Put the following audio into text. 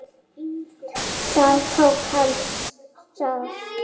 Það tók hana sárt.